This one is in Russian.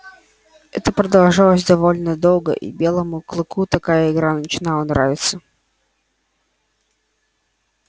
это продолжалось довольно долго и белому клыку такая игра начинала нравиться